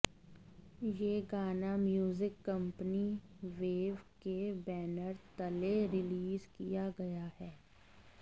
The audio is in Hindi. यह गाना म्यूजिक कंपनी वेव के बैनर तले रिलीज किया गया है